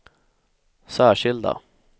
särskilda